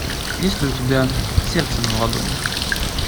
есть ли у тебя сердце на ладони